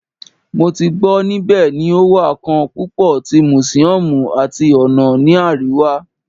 Mo ti gbọ nibẹ ni o wa kan pupo ti museums ati ona ni ariwa